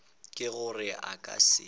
ke gore a ka se